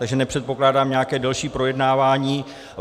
Takže nepředpokládám nějaké delší projednávání.